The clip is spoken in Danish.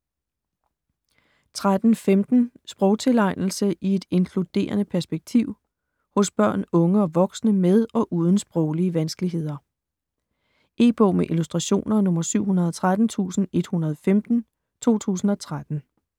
13.15 Sprogtilegnelse i et inkluderende perspektiv Hos børn, unge og voksne med og uden sproglige vanskeligheder. E-bog med illustrationer 713115 2013.